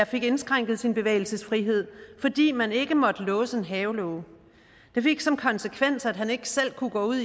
fik indskrænket sin bevægelsesfrihed fordi man ikke måtte låse en havelåge det fik som konsekvens at han ikke selv kunne gå ud